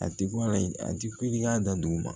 A ti bɔ ala a ti kule dan duguma